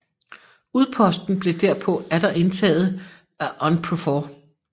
Udposten blev derpå atter indtaget af UNPROFOR